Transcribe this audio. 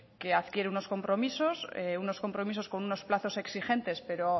que adquiere unos compromisos unos compromisos con unos plazos exigentes pero